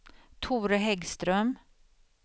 Tore Häggström